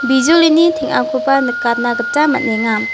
bijolini teng·akoba nikatna gita man·enga.